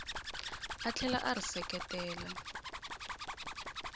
a tlhela a ri seketela